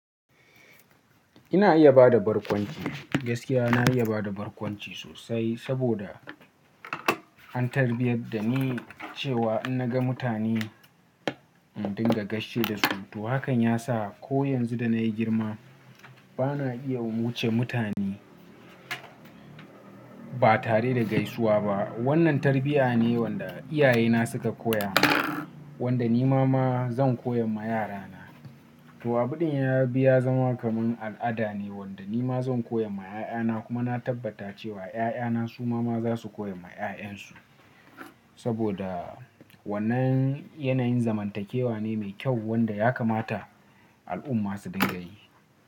Ina iya ba da barkwanci, gaskiya na iya ba da barkwanci sosai saboda an tarbiyar da ni cewa in na ga mutane in dinga gaishe da su. To hakan ya sa ko yanzu da na yi girma ba na iya wuce mutane ba tare da gaisuwa ba. Wannan tarbiyya ne wanda iyayena suka koya min, wanda ni ma ma zan koya ma yarana. To abun da ya biya zama kaman al'ada ne wanda ni ma zan koya ma 'ya'yana kuma na tabbata cewa 'ya'yana su ma za su koya ma 'ya'yansu saboda wannan yanayin zamantakewa ne mai kyau wanda ya kamata al'umma su dinga yi.